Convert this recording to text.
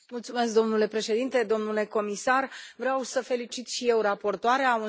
Domnule președinte, domnule comisar, vreau să felicit și eu raportoarea.